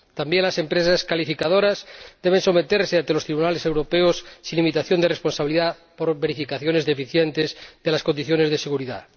También las empresas calificadoras deben someterse ante los tribunales europeos sin limitación de responsabilidad por verificaciones deficientes de las condiciones de seguridad.